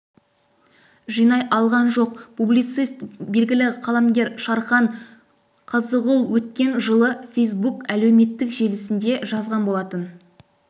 жинай алған жоқ публицист белгілі қаламгер шархан қазығұл өткен жылы фейсбук әлеуметтік желісінде жазған болатын